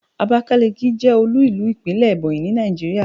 abakaliki je olú ìlú ìpínlè Ebonyi ni Naijiria